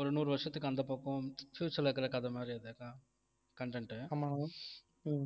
ஒரு நூறு வருஷத்துக்கு அந்தப் பக்கம் future ல இருக்கிற கதை மாதிரி அதுதான் content உ